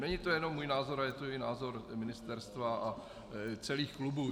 Není to jenom můj názor, ale je to i názor ministerstva a celých klubů.